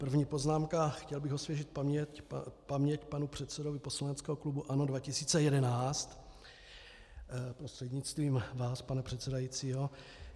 První poznámka, chtěl bych osvěžit paměť panu předsedovi poslaneckého klubu ANO 2011 prostřednictvím vás, pane předsedající.